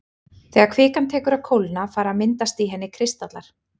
Þegar kvikan tekur að kólna fara að myndast í henni kristallar.